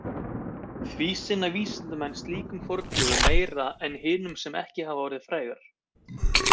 Því sinna vísindamenn slíkum fornleifum meira en hinum sem ekki hafa orðið frægar.